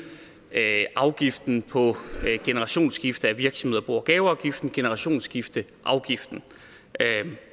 at øge afgiften på generationsskifter i virksomheder bo og gaveafgiften generationsskifteafgiften